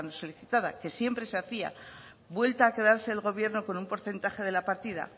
solicitada que siempre se hacía vuelta a quedarse el gobierno con un porcentaje de la partida